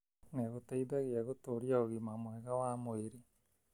nĩ gũteithagia gũtũria ũgima mwega wa mwĩrĩ.